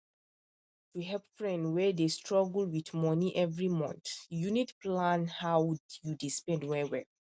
to help friend wey dey struggle with money every month you need plan how you dey spend well well